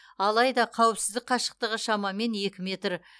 алайда қауіпсіздік қашықтығы шамамен екі метр